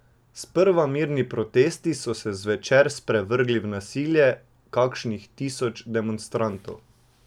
Sprva mirni protesti so se zvečer sprevrgli v nasilje kakšnih tisoč demonstrantov.